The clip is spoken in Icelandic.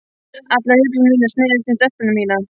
Allar hugsanir mínar snerust um stelpuna mína.